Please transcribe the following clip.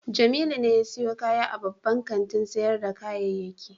Jamilu ne ya sayo kaya a babban kantin sayar da kayayyaki